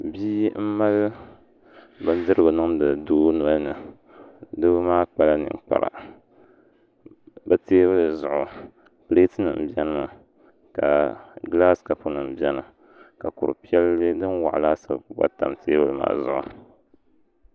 Bia n mali bindirigu niŋdi doo nolini doo maa kpala ninkpara bi teebuli zuɣu pileet nim biɛni mi ka gilaas kapu nim biɛni ka kuri piɛlli din waɣa laasabu gba tam teebuli maa zuɣu